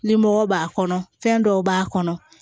Ni mɔgɔ b'a kɔnɔ fɛn dɔw b'a kɔnɔ